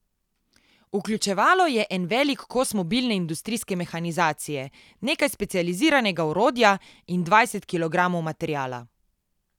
Vključevalo je en velik kos mobilne industrijske mehanizacije, nekaj specializiranega orodja in dvajset kilogramov materiala.